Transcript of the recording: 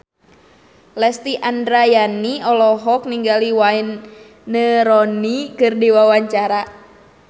Lesti Andryani olohok ningali Wayne Rooney keur diwawancara